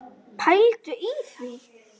Pældu í því!